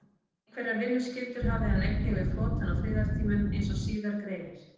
Einhverjar vinnuskyldur hafði hann einnig við flotann á friðartímum, eins og síðar greinir.